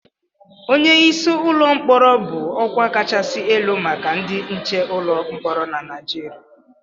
Onye isi ụlọ mkpọrọ bụ ọkwa kachasị elu maka ndị nche ụlọ mkpọrọ na Nigeria